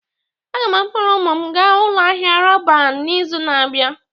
Aga m akpọrọ ụmụ m gaa ụlọ ahịa Roban n'izu na-abịa